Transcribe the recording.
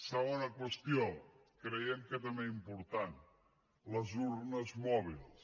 segona qüestió creiem que també important les urnes mòbils